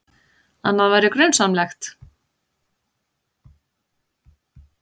Annað væri grunsamlegt.